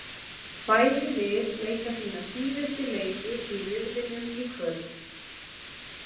Bæði lið leika sína síðustu leiki í riðlinum í kvöld.